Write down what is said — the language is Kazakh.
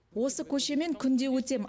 осы көшемен күнде өтем